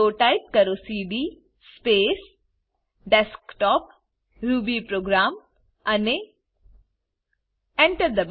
તો ટાઈપ કરો CD space desktopરૂબીપ્રોગ્રામ અને Enter